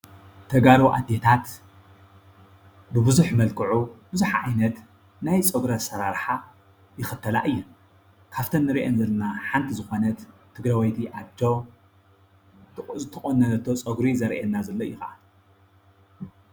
ተጋሩ ኣዴታት ብቡዝሕ መልክዑ ብዙሕ ዓይነት ናይ ፀጉሪ ኣሰራርሓ ይኽተላ እየን። ካብተን እንርእየን ዘለና ሓንቲ ዝኾነት ትግራወይቲ ኣዶ ዝተቆነኖቶ ፀጉሪ ዘርእየና ዘሎ እዩ ከዓ።